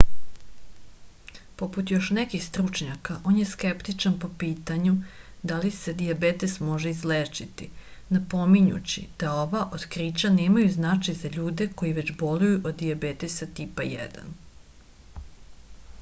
poput još nekih stručnjaka on je skeptičan po pitanju da li se dijabetes može izlečiti napominjući da ova otkrića nemaju značaj za ljude koji već boluju od dijabetesa tipa 1